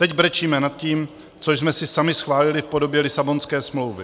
Teď brečíme nad tím, co jsme si sami schválili v podobě Lisabonské smlouvy.